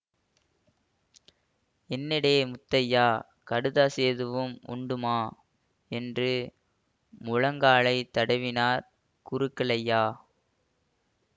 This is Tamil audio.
என்னேடே முத்தையா கடுதாசி எதுவும் உண்டுமா என்று முழங்காலை தடவினார் குருக்களையா